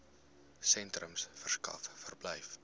sentrums verskaf verblyf